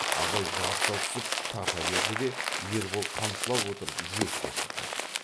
абай жабыса түсіп тарта берді де ербол қамшылап отырып жиекке шықты